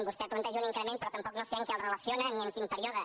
vostè planteja un increment però tampoc no sé amb què el relaciona ni en quin període